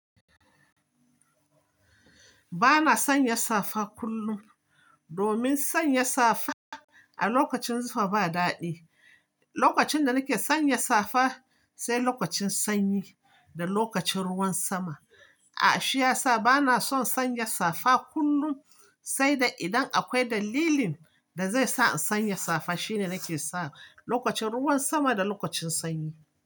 Ba na sanya safa kullum, domin sanya safa a lokacin zufa ba daɗi. Lokacin da nake sanya safa, sai lokacin sanyi da lokacin ruwan sama. A, shi ya sa ba na son sanya safa kullum, sai dai idan akwai dalilin da zai sa in sanya safa, shi ne nake sa. Lokacin ruwan sama da lokacin sanyi.